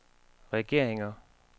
regeringer